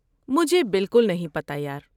مجھے باکل نہیں پتہ، یار۔